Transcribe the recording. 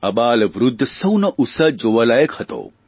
આબાલવૃદ્ધ સૌનો ઉત્સાહ જોવાલાયક હતો